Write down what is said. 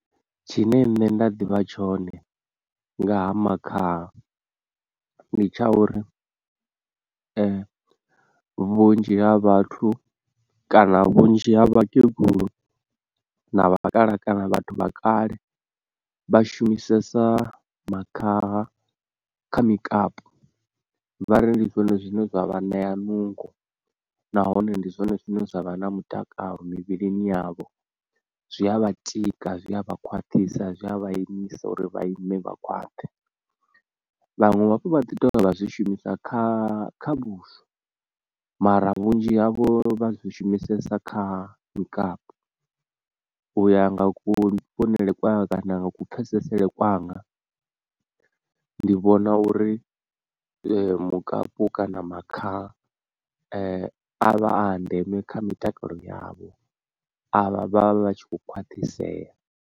Tshine nṋe nda ḓivha tshone nga ha makhaha ndi tsha uri, vhunzhi ha vhathu kana vhunzhi ha vhakegulu na vha kalaha kana vhathu vha kale, vha shumisesa makhaha kha mikapu, vha ri ndi zwone zwine zwa vha ṋea nungo nahone ndi zwone zwine zwa vha na mutakalo mivhilini yavho, zwi a vha tika zwi a vha khwaṱhisa, zwi a vha imisa uri vha ime vha khwaṱhe, vhanwe hafhu vha ḓi tovha zwi shumisa kha kha vhuswa mara vhunzhi havho vha zwi shumisesa kha mikapu u ya nga ku vhonele kwanga kana nga ku pfesesele kwanga, ndi vhona uri mukapu kana makha avha a ndeme kha mitakalo yavho avha vhavha vhatshi kho khwathiseya.